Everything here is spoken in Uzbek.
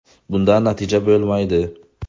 Bundan natija bo‘lmaydi.